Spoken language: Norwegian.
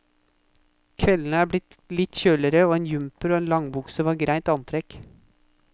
Kveldene er litt kjøligere og en jumper og langbukse var greit antrekk.